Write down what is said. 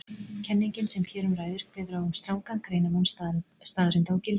Kenningin sem hér um ræðir kveður á um strangan greinarmun staðreynda og gilda.